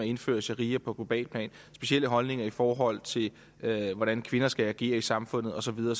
indføre sharia på globalt plan specielle holdninger i forhold til hvordan kvinder skal agere i samfundet og så videre